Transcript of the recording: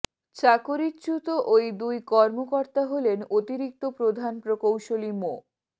চাকরিচ্যুত ওই দুই কর্মকর্তা হলেন অতিরিক্ত প্রধান প্রকৌশলী মো